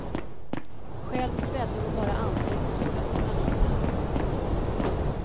Själv svedde hon bara ansiktet och fötterna lite.